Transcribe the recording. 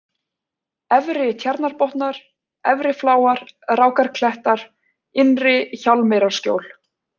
Efri-Tjarnarbotnar, Efrifláar, Rákarklettar, Innri-Hjálmeyrarskjól